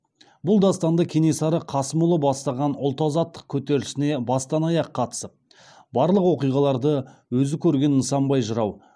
бұл дастанды кенесары қасымұлы бастаған ұлт азаттық кетерілісіне бастан аяқ қатысып барлық оқиғаларды өзі көрген нысанбай жырау